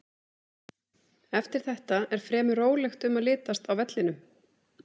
Eftir þetta er fremur rólegt um að litast á vellinum.